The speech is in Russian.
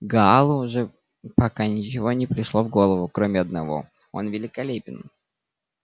гаалу же пока ничего не пришло в голову кроме одного он великолепен